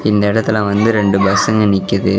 இந்த எடத்ல வந்து ரெண்டு பச்சுங்க நிக்கிது.